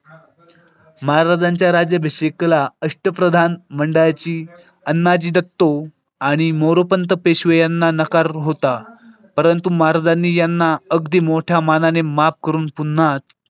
महाराजांच्या राज्याभिषेकला अष्टप्रधान मंडळाची अण्णाजी दत्तो आणि मोरोपंत पेशवे यांना नकार होता. परंतु महाराजांनी यांना अगदी मोठ्या मनाने माफ करून पुन्हा.